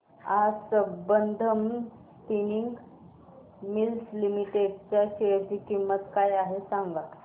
आज Sambandam spinning mills limited च्या share ची किंमत काय आहे हे सांगा